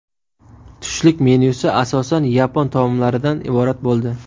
Tushlik menyusi asosan yapon taomlaridan iborat bo‘ldi.